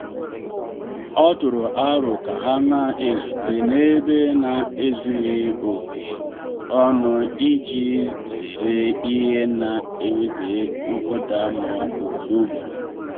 ọ tụrụ aro ka ha na ezute n’ebe na ezughị oke ọnụ iji zere ihe na eweta nkụda mmụọ ugboro ugboro.